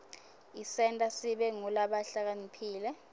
isenta sibe ngulabahlakaniphile